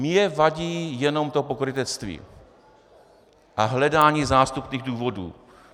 Mně vadí jenom to pokrytectví a hledání zástupných důvodů.